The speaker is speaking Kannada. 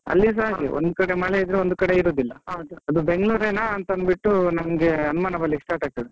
ಅಲ್ಲಿಸಾ ಹಾಗೆ ಒಂದ್ ಕಡೆ ಮಳೆ ಇದ್ರೆ ಇನ್ನೊಂದ್ ಕಡೆ ಇರುದಿಲ್ಲ, ಬೆಂಗಳೂರ್ರೆನಾ ಅಂತ ಅಂದ್ಬಿಟ್ಟು ನಮ್ಗೆ ಅನುಮಾನ ಬರ್ಲಿಕ್ಕೆ start ಆಗ್ತದೆ.